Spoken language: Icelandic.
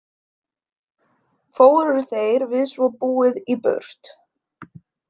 Fóru þeir við svo búið í burt.